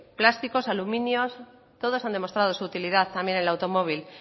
plásticos aluminios todos han demostrado su utilidad también en el automóvil